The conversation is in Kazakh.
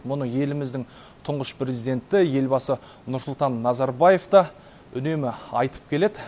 мұны еліміздің тұңғыш президенті елбасы нұрсұлтан назарбаев та үнемі айтып келеді